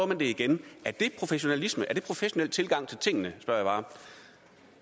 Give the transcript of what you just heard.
man det igen er det professionalisme er det en professionel tilgang til tingene spørger jeg bare